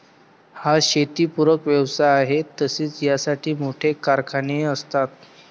हा शेतीपूरक व्यवसाय आहे तसेच यासाठी मोठे कारखानेहि असतात.